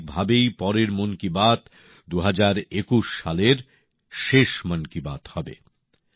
স্বাভাবিকভাবেই পরের মন কি বাত ২০২১ সালের শেষ মন কি বাত হবে